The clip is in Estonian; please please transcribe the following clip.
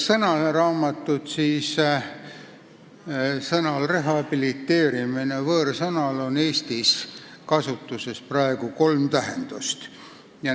Sõnaraamatust leiame, et võõrsõnal "rehabiliteerimine" on praegu Eestis kolm tähendust.